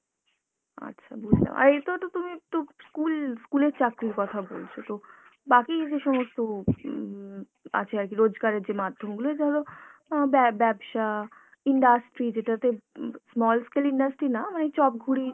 আচ্ছা বুঝলাম, আর এতেও তো তুমি তো school, school এর চাকরির কথা বলছো, তো বাকি যে সমস্ত উম আছে আরকি রোজগারের যে মাধ্যমগুলো এই ধরো অ্যাঁ ব্যা~ ব্যবসা, industry যেটাতে উম small scale industry না মানে এই চপ ঘুড়ি